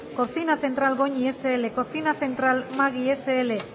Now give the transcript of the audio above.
cocina central goñi sl cocina central magui sl